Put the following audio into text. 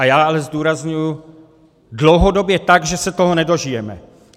A já ale zdůrazňuji, dlouhodobě, tak, že se toho nedožijeme.